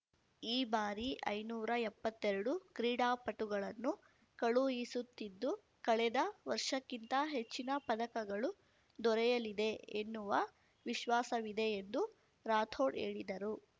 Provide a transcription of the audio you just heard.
ಈ ಬಾರಿ ಐನೂರಾ ಎಪ್ಪತ್ತೆರಡು ಕ್ರೀಡಾಪಟುಗಳನ್ನು ಕಳುಹಿಸುತ್ತಿದ್ದು ಕಳೆದ ವರ್ಷಕ್ಕಿಂತ ಹೆಚ್ಚಿನ ಪದಕಗಳು ದೊರೆಯಲಿದೆ ಎನ್ನುವ ವಿಶ್ವಾಸವಿದೆ ಎಂದು ರಾಥೋಡ್‌ ಹೇಳಿದರು